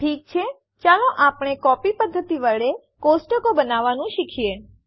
ઠીક છે ચાલો આપણે કોપી પધ્ધતિ વડે ટેબલો બનાવવાનું શીખીએ